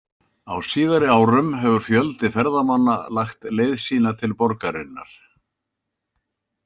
Á síðari árum hefur fjöldi ferðamanna lagt leið sína til borgarinnar.